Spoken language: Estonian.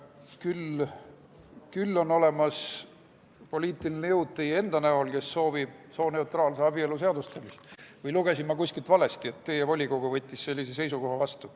Küll on olemas poliitiline jõud teie enda näol, kes soovib sooneutraalse abielu seadustamist, või lugesin ma kuskilt valesti, et teie volikogu võttis sellise seisukoha vastu.